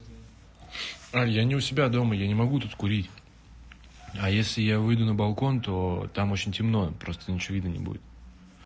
ань я не у себя дома я не могу тут курить а если я выйду на балкон то там очень темно просто ничего видно не будет